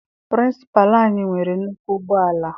Pịrịnsịpalụ anyị nwere nnukwu ụgbọala.